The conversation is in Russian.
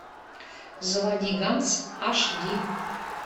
заводи ганс аш ди